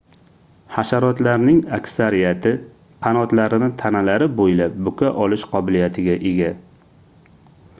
hasharotlarning aksariyati qanotlarini tanalari boʻylab buka olish qobiliyatiga ega